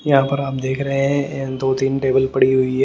यहाँ पर हम देख रहे हैं दो तीन टेबल पड़ी हुई है।